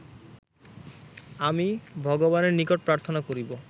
আমি ভগবানের নিকট প্রার্থনা করিব